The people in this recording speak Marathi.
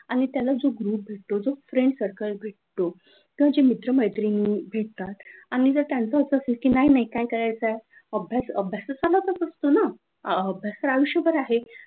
ग्रुप जो भेटतो जो फ्रेंड सर्कल भेटतो तर ते मित्र-मित्राने भेटतात आणि जर त्यांचा अस असतं की नाही नाही काय करायच अभ्यास अभ्यासात तर चालत असतो न अभ्यास तर आयुष्यभर आहे,